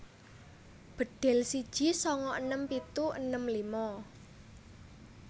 Bedhil siji sanga enem pitu enem lima